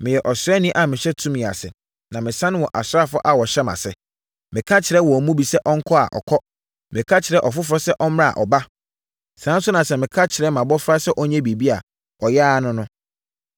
Meyɛ ɔsraani a mehyɛ tumi ase, na mesane wɔ asraafoɔ a wɔhyɛ mʼase. Meka kyerɛ wɔn mu bi sɛ ɔnkɔ a, ɔkɔ. Meka kyerɛ ɔfoforɔ sɛ ɔmmra a, ɔba. Saa ara nso na sɛ meka kyerɛ mʼabɔfra sɛ ɔnyɛ biribi a, ɔyɛ ara no no.”